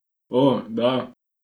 O, da.